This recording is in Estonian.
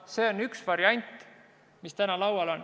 See on üks variant, mis täna on laual.